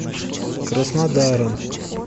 краснодаром